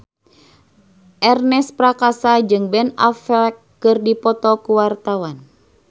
Ernest Prakasa jeung Ben Affleck keur dipoto ku wartawan